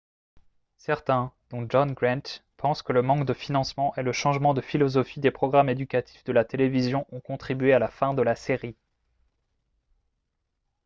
certains dont john grant pensent que le manque de financement et le changement de philosophie des programmes éducatifs de la télévision ont contribué à la fin de la série